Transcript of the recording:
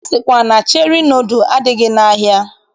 A sịkwa na Cheri nọdụl adịghị n'ahịa.